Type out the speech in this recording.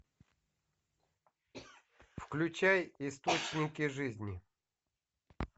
включай источники жизни